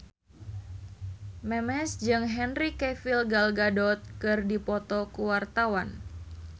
Memes jeung Henry Cavill Gal Gadot keur dipoto ku wartawan